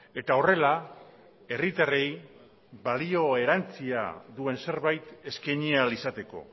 eta horrela herritarrei balio erantzia duen zerbait eskaini ahal izateko